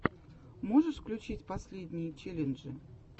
можешь включить последние челленджи